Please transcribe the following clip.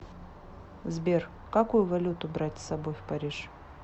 сбер какую валюту брать с собой в париж